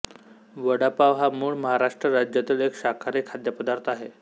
वडापाव हा मूळ महाराष्ट्र राज्यातील एक शाकाहारी खाद्यपदार्थ आहे